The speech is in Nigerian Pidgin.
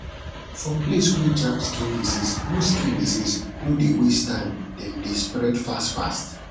for place wer jam skin disease no skin disease no dey waste time dem dey spread fast fast